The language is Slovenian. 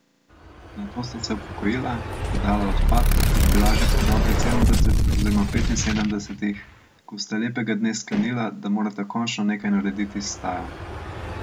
Nato sta se upokojila, prodala odpad in bila že pri dobrih sedemdesetih oziroma petinsedemdesetih, ko sta lepega dne sklenila, da morata končno nekaj narediti s stajo.